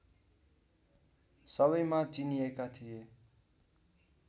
सबैमाझ चिनिएका थिए